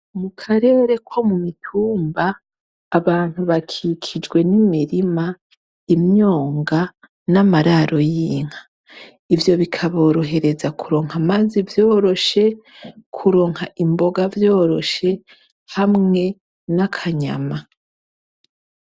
Mu karere ko mu mitumba, abantu bakikijwe n'imirima, imyonga, n'amararo y'inka. Ivyo bikaborohereza kuronka amazi vyoroshe, kuronka imboga vyoroshe hamwe n'akanyama.